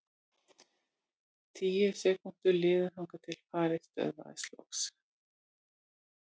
Tíu sekúndur liðu þangað til farið stöðvaðist loks.